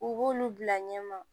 U b'olu bila ɲɛma